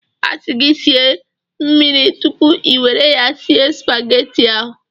A sị gị sie mmiri tupu ị nwere ya sie supageti ahụ.